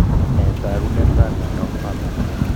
Nee taakunetaab myondap Farber's?